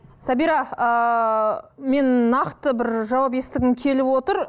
сабира ыыы мен нақты бір жауап естігім келіп отыр